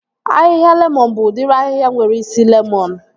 Ahịhịa lemọn bụ udiri ahịhịa nwere isi lemọn